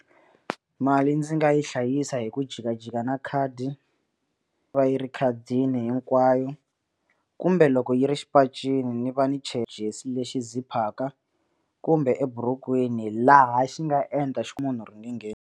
Mali ndzi nga yi hlayisa hi ku jikajika na khadi yi va yi ri ekhadini hinkwayo kumbe loko yi ri xipacini ni va ni lexi ziphaka kumbe eburukwini laha xi nga endla xi ku munhu ringe ngheni.